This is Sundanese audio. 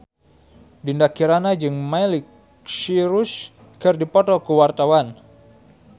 Dinda Kirana jeung Miley Cyrus keur dipoto ku wartawan